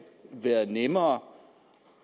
været nemmere